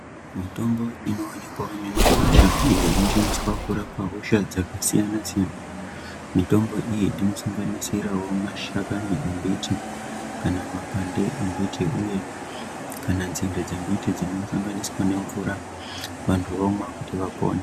Mitombo inowanikwa mumakwasha iyo inoshandiswa kurapa hosha dzakasiyana-siyana mitombo iyi inosanganisira mashakani embiti kana makwande embiti kana nzinde dzembiti dzinosanganiswa nemvura antu omwa kuti vapore.